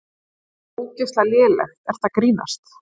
Bara ógeðslega lélegt, ertu að grínast?